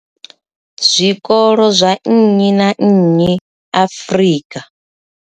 Zwikolo zwa nnyi na nnyi Afrika.